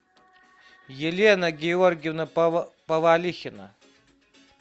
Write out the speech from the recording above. елена георгиевна повалихина